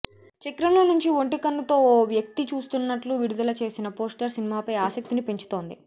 చక్రంలో నుంచి ఒంటి కన్నుతో ఓ వ్యక్తి చూస్తున్నట్లు విడుదల చేసిన పోస్టర్ సినిమాపై ఆసక్తిని పెంచుతోంది